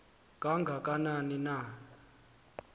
kanga kanani na